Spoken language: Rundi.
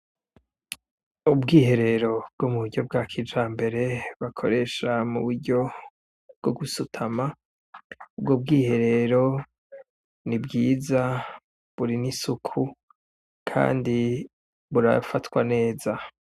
Ubwiherero bwo m'uburyo bwa kijambere, bakoresha m'uburyo bwo gusutama, ubwo bwiherero nibwiza burimwo isuku kandi burafatwa neza.